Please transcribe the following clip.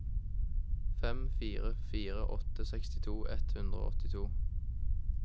fem fire fire åtte sekstito ett hundre og åttito